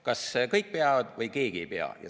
Kas kõik peavad või keegi ei pea.